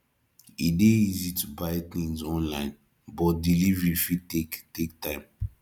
e dey easy to buy things online but delivery fit take take time